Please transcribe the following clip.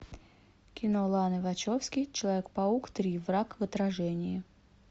кино ланы вачовски человек паук три враг в отражении